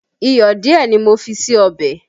Iyọ̀ díẹ̀ ni mo fi sí ọbẹ̀